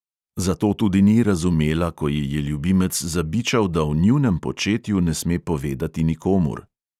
Zato tudi ni razumela, ko ji je ljubimec zabičal, da o njunem početju ne sme povedati nikomur.